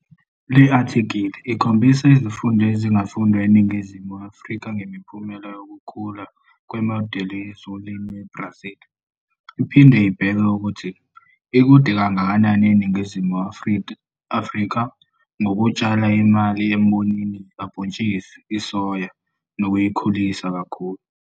Le athikhili ikhombisa izifundo ezingafundwa yiNingizimu Afrika ngempumelelo yokukhula kwemodeli yezolimo eBrazil, iphinde ibheke ukuthi ikude kangakanani iNingizimu Afrika ngokutshala imali embonini kabhontshisi isoya nokuyikhulisa kakhulu.